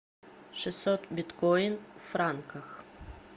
шестьсот биткоин в франках